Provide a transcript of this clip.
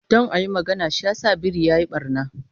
Don a yi magana, shi yasa biri ya yi ɓarna.